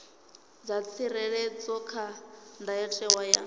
dza tsireledzwa kha ndayotewa ya